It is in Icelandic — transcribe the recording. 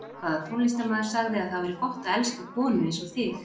Hvaða tónlistarmaður sagði að það væri gott að elska konu eins og þig?